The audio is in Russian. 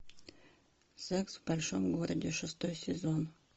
секс в большом городе шестой сезон